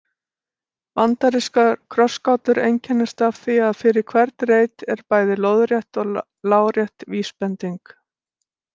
Bandarískar krossgátur einkennast af því að fyrir hvern reit er bæði lóðrétt og lárétt vísbending.